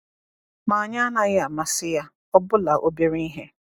Ma anyị anaghị amasị ya, ọbụla obere ihe.